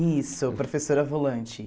Isso, professora volante.